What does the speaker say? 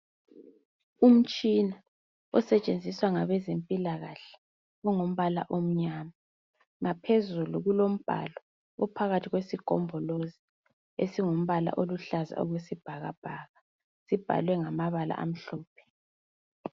Umtshina osetshenziswa ngabezempilalakahle ungumbala omnyama. Ngaphezulu kulombhalo ophakathi kwesigombolozi, esingumbala oluhlaza okwesibhakabhaka sibhalwe ngamabala amhlophe.